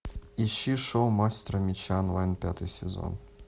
ищи шоу мастер меча онлайн пятый сезон